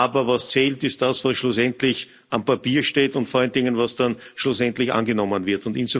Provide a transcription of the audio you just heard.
Aber was zählt, ist das, was schlussendlich am Papier steht, und vor allen Dingen, was dann schlussendlich angenommen wird.